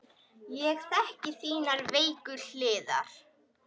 Ég þekki þínar veiku hliðar.